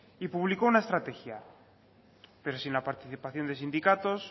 y publicó una estrategia pero sin la participación de sindicatos